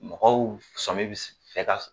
Mɔgɔw sɔmin bi fɛ ka